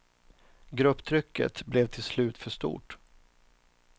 Grupptrycket blev till slut för stort.